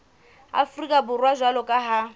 afrika borwa jwalo ka ha